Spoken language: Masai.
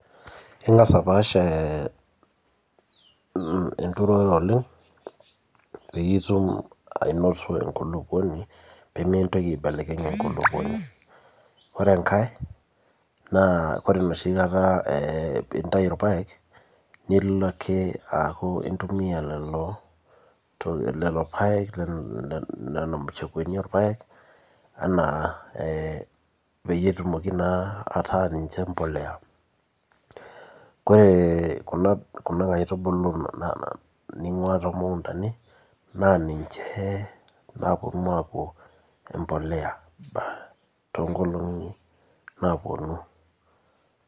Ing'as apaash ee enturore oleng pee mintoki aedapash enkulupuoni ore pee intayu ilpaek nilo ake aaku intumiya lelo paek .Nena mashakuani oo ilpayeknpeyie etumoki naa, ataa niche embolea, ore Kuna aitubulu ningua naa niche naapuonu aaku embolea.